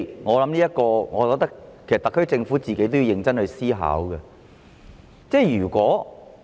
我相信特區政府自己也要認真思考一下。